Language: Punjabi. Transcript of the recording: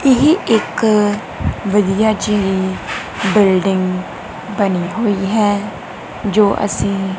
ਇਹ ਇੱਕ ਵਧਿਆ ਜੀ ਬਿਲਡਿੰਗ ਬਣੀ ਹੋਇ ਹੈ ਜੋ ਅਸੀਂ।